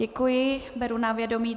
Děkuji, beru na vědomí.